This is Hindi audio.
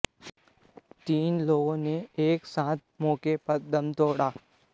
तीन लोगों ने एक साथ मौके पर दम तोड़ा